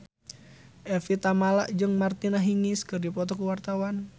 Evie Tamala jeung Martina Hingis keur dipoto ku wartawan